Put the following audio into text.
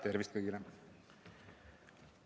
Tervist kõigile!